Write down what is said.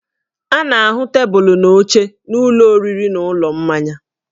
A na-ahụ tebụlụ na oche n'ụlọ oriri na ụlọ mmanya